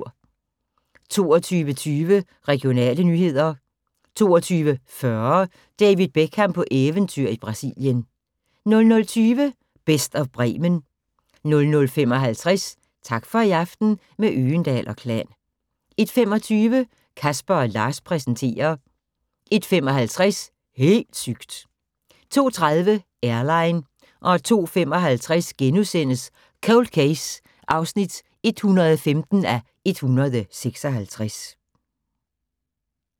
22:20: Regionale nyheder 22:40: David Beckham på eventyr i Brasilien 00:20: Best of Bremen 00:55: Tak for i aften – med Øgendahl & Klan 01:25: Casper & Lars præsenterer 01:55: Helt sygt! 02:30: Airline 02:55: Cold Case (115:156)*